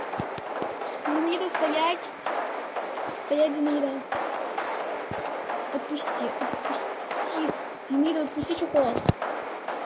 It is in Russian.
зинаида стоять стоять зинаида отпусти отпусти зинаида чехол